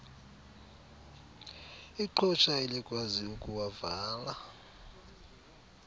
iqhosha elikwazi ukuwavala